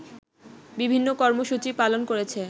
বিভিন্ন কর্মসূচি পালন করেছে